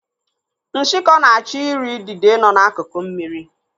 Nshikọ na-achọ ị ri idide nọ n'akuku mmiri.